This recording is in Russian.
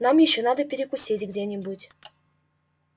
нам ещё надо перекусить где-нибудь